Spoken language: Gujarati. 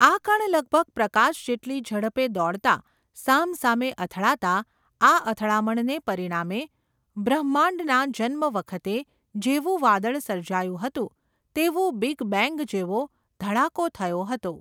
આ કણ લગભગ પ્રકાશ જેટલી ઝડપે દોડતા, સામસામે અથડાતા, આ અથડામણને પરિણામે, બ્રહ્માંડના જન્મ વખતે, જેવું વાદળ સર્જાયું હતું, તેવું બીગબેન્ગ જેવો, ધડાકો થયો હતો.